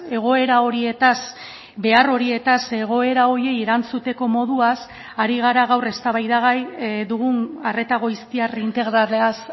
egoera horietaz behar horietaz egoera horiei erantzuteko moduaz ari gara gaur eztabaidagai dugun arreta goiztiar integralaz